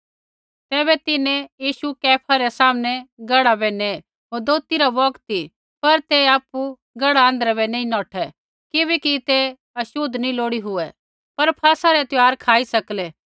तैबै तिन्हैं यीशु कैफा रै सामने गड़ा बै नेये होर दोथी रा बौगत ती पर तै आपु गढ़ा आँध्रै बै नैंई नौठै किबैकि ते छ़ोत नैंई लोड़ी लागी पर फसहै रै त्यौहार खाई सकलै